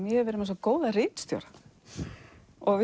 ég hef verið með svo góða ritstjóra og við